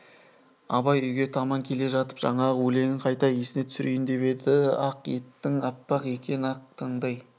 абай үйге таман келе жатып жаңағы өлеңін қайта есіне түсірейін деп еді ақ етің аппақ екен атқан таңдай